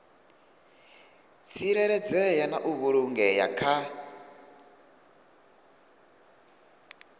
tsireledzea na u vhulungea kha